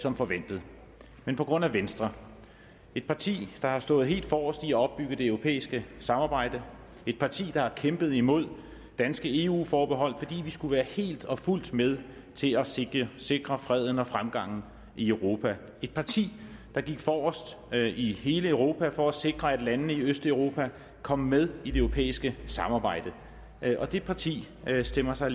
som forventet men på grund af venstre et parti der har stået helt forrest i at opbygge det europæiske samarbejde et parti der har kæmpet imod danske eu forbehold fordi vi skulle være helt og fuldt med til at sikre sikre freden og fremgangen i europa et parti der gik forrest i hele europa for at sikre at landene i østeuropa kom med i det europæiske samarbejde og det parti stemmer sig